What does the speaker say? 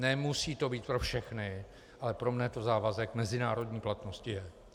Nemusí to být pro všechny, ale pro mne to závazek mezinárodní platnosti je.